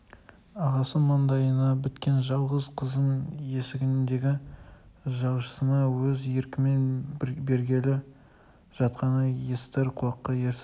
ағасы мандайына біткен жалғыз қызын есігіндегі жалшысына өз еркімен бергелі жатқаны естір құлаққа ерсі